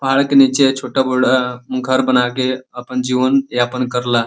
पहाड़ के नीचे छोटा बुड़ा घर बना के अपन जीवन यापन करला।